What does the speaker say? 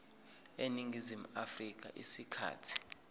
eningizimu afrika isikhathi